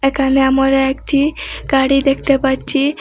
এখানে আমরা একটি গাড়ি দেখতে পাচ্ছি।